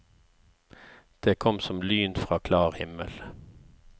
Det kom som lyn fra klar himmel.